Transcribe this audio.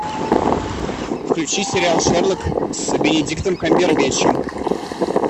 включи сериал шерлок с бенедиктом камбербэтчем